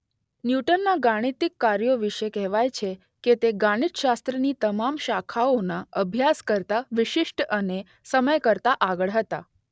ન્યૂટનના ગાણિતિક કાર્યો વિશે કહેવાય છે કે તે ગણિતશાસ્ત્રની તમામ શાખાઓના અભ્યાસ કરતાં વિશિષ્ટ અને સમય કરતાં આગળ હતા.